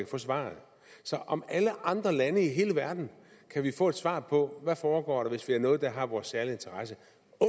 få svaret så om alle andre lande i hele verden kan vi få et svar på hvad der foregår hvis det er noget der har vores særlige interesse